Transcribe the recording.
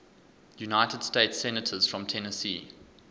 united states senators from tennessee